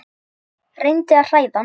Reyndi að hræða hann.